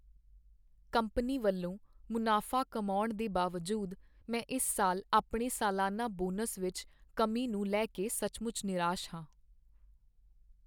Company ਵੱਲੋਂ ਮੁਨਾਫ਼ਾ ਕਮਾਉਣ ਦੇ ਬਾਵਜੂਦ ਮੈਂ ਇਸ ਸਾਲ ਆਪਣੇ ਸਾਲਾਨਾ ਬੋਨਸ ਵਿੱਚ ਕਮੀ ਨੂੰ ਲੈ ਕੇ ਸੱਚਮੁੱਚ ਨਿਰਾਸ਼ ਹਾਂ।